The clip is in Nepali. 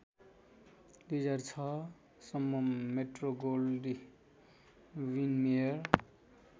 २००६ सम्म मेट्रोगोल्डविनमेयर